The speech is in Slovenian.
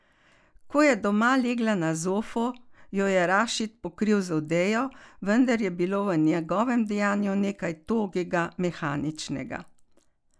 Ko je doma legla na zofo, jo je Rašid pokril z odejo, vendar je bilo v njegovem dejanju nekaj togega, mehaničnega.